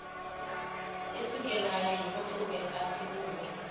isukelwayo yimpucuko asibubo